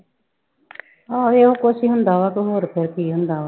ਆਹੋ ਇਹੋ ਕੁਛ ਹੀ ਹੁੰਦਾ ਵਾ ਤੇ ਹੋਰ ਫਿਰ ਕੀ ਹੁੰਦਾ ਵਾ।